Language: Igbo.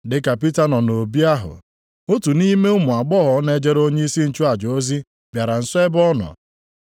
Dịka Pita nọ nʼobi ahụ, otu nʼime ụmụ agbọghọ na-ejere onyeisi nchụaja ozi bịara nso ebe ọ nọ.